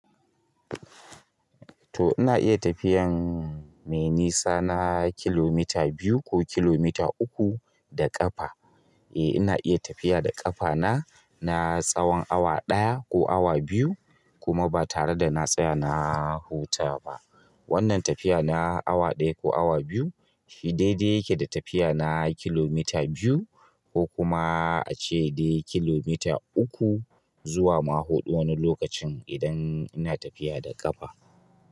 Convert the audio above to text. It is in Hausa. To ina iya tafiyan mai nisa na kilomita biyu ko kilomita uku da ƙafa. Eh ina iya tafiya da ƙafa na, na tsawon awa ɗaya ko awa biyu kuma ba tare da na tsaya na huta ba. Wannan tafiya na awa ɗaya ko awa biyu shi dai-dai yake da tafiya na kilomita biyu ko kuma ace kilomita uku zuwa ma huɗu wani lokacin idan ina tafiya da ƙafa.